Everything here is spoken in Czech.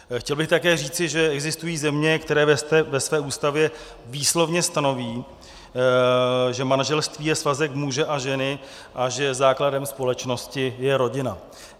Chtěl bych také říci, že existují země, které ve své ústavě výslovně stanoví, že manželství je svazek muže a ženy a že základem společnosti je rodina.